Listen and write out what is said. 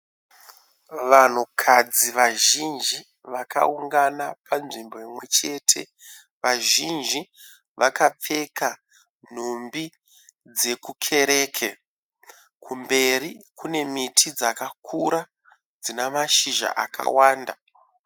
Vanhukadzi vazhinji vakaungana panzvimbo imwechete. Vazhinji vakapfeka nhumbi dzekukereke. Kumberi kune miti dzakakura dzinemashizha akawanda.